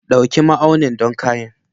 Ɗauki ma'aunin don kayan.